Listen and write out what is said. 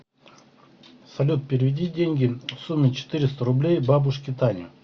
салют переведи деньги в сумме четыреста рублей бабушке тане